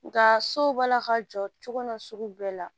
Nga so b'a la ka jɔ cogo na sugu bɛɛ la